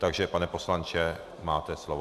Takže pane poslanče, máte slovo.